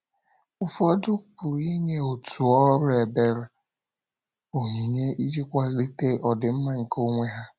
Ụfọdụ pụrụ inye òtù ọrụ ebere, onyinye iji kwalite ọdịmma nke onwe ha.